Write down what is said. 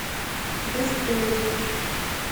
бесстыжий